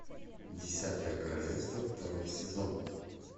десятое королевство второй сезон